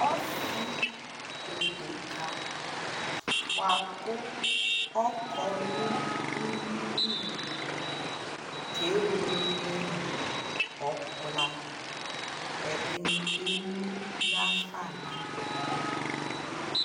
Ɔsi edeka bua kʋ ɔkɔ nʋ uwi lι kebuele nʋ ɔkpla ɛdi ni kdmʋ yafa naduku